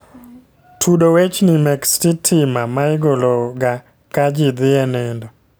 Tudo wechni mek sitima ma igolo ga ka ji dhi e nindo